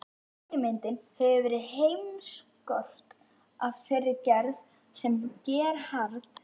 Fyrirmyndin hefur verið heimskort af þeirri gerð sem Gerhard